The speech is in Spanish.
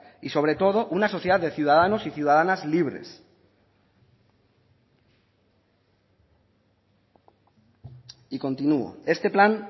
y sobre todo una sociedad de ciudadanos y ciudadanas libres y continúo este plan